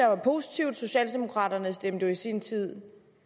er positivt socialdemokraterne stemte jo i sin tid